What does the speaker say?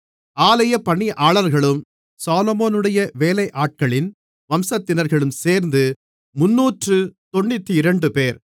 ஆலய பணியாளர்களும் சாலொமோனுடைய வேலையாட்களின் வம்சத்தினர்களும் சேர்ந்து முந்நூற்றுத் தொண்ணூற்றிரண்டுபேர்